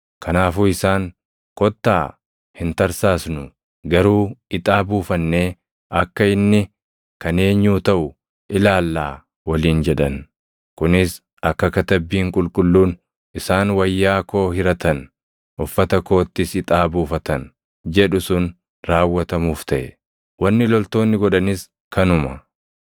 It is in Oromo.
Kanaafuu isaan, “Kottaa hin tarsaasnuu; garuu ixaa buufannee akka inni kan eenyuu taʼu ilaallaa” + 19:24 \+xt Far 22:18\+xt* waliin jedhan. Kunis akka Katabbiin Qulqulluun, “Isaan wayyaa koo hiratan; uffata koottis ixaa buufatan” jedhu sun raawwatamuuf taʼe. Wanni loltoonni godhanis kanuma.